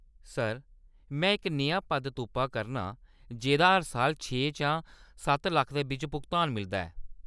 Sir, मैं इक नेहा पद तुप्पा करनां जेह्‌‌दा हर साल छे शा सत्त लक्ख दे बिच्च भुगतान मिलदा ऐ।